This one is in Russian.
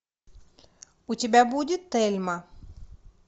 у тебя будет тельма